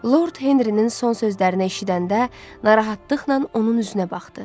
Lord Henrinin son sözlərini eşidəndə narahatlıqla onun üzünə baxdı.